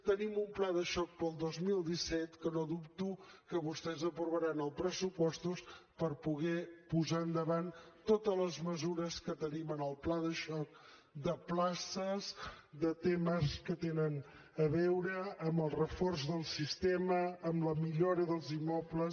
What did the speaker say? tenim un pla de xoc pel dos mil disset que no dubto que vostès aprovaran els pressupostos per poder posar endavant totes les mesures que tenim en el pla de xoc de places de temes que tenen a veure amb el reforç del sistema amb la millora dels immobles